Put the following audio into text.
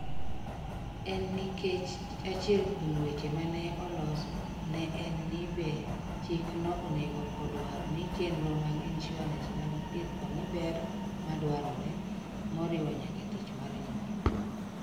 En nikech achiel kuom weche ma ne oloso ne en ni be chikno onego odwar ni chenro mag insurans mag thieth omi "ber ma dwarore" moriwo nyaka tich mar nyuol.